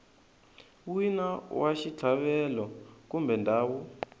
wina wa xitlhavelo kumbe ndhawu